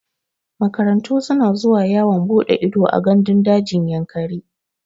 Makarantu suna zuwa yawon buɗe ido a gandun dajin Yankari.